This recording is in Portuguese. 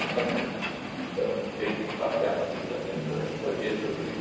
ainda vou ter que passear no Rio de Janeiro porque eu nem conheço o Rio.